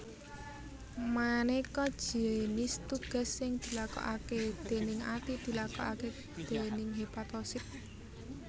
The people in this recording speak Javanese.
Manéka jinis tugas sing dilakokaké déning ati dilakokaké déning hepatosit